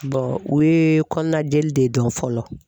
o ye kɔnɔnajeli de dɔn fɔlɔ.